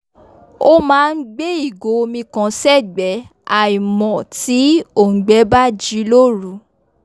ó máa n gbé ìgò omi kan sẹ́gbẹ́ àímò tí òùngbẹ bá ji loru